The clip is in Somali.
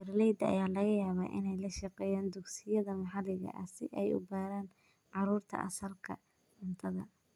Beeralayda ayaa laga yaabaa inay la shaqeeyaan dugsiyada maxalliga ah si ay u baraan carruurta asalka cuntada.